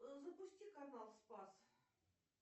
запусти канал спас